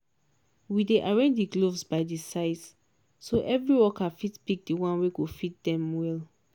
we dey arrange di gloves by di size so every workerfit pick di one wey go fit dem well.